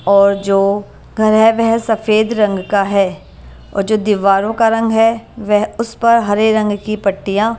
और जो घर है वह सफेद रंग का है और जो दीवारों का रंग है वह उस पर हरे रंग की पट्टियां--